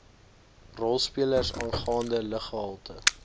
rolspelers aangaande luggehalte